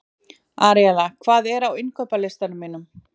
Aríella, hvað er á innkaupalistanum mínum?